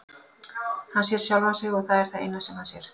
Hann sér sjálfan sig og það er það eina sem hann sér.